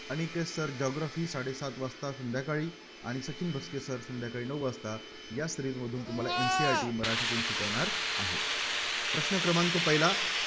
Aniket sirGeography साडेसात वाजता संध्याकाळी आणि सचिन भोसले sir संध्याकाळी नऊ वाजता या Series मधून तुम्हाला NCERT मराठीतून शिकवणार आहेत. प्रश्न क्रमांक पहिला.